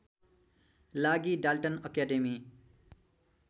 लागि Dalton academy